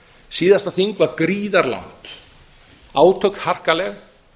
síðasta þing var gríðarlangt átök harkaleg